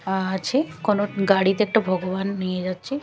আ-আছে কোনো গাড়িতে একটা ভগবান নিয়ে যাচ্ছে।